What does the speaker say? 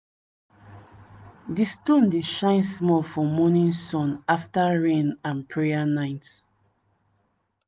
di stone dey shine small for morning sun after rain and prayer night.